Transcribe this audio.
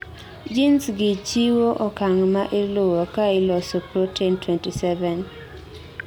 genes gi chiwo okang' maa iluwo kaa ilosos protein 27